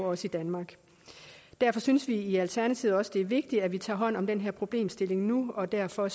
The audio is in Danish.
også i danmark derfor synes vi i alternativet også at det er vigtigt at vi tager hånd om den her problemstilling nu og derfor